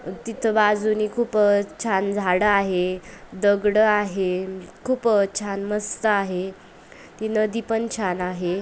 तिथं बाजूंनी खूप छान झाडं आहे दगड आहे खूप छान मस्त आहे ती नदी पण छान आहे.